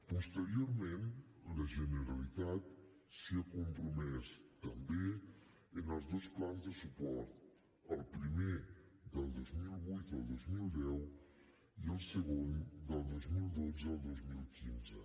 posteriorment la generalitat s’hi ha compromès també en els dos plans de suport el primer del dos mil vuit al dos mil deu i el segon del dos mil dotze al dos mil quinze